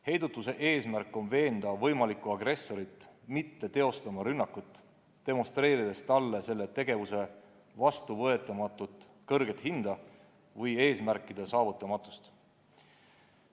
Heidutuse eesmärk on veenda võimalikku agressorit mitte teostama rünnakut, demonstreerides talle selle ettevõtmise vastuvõetamatult kõrget hinda või eesmärkide saavutamatust.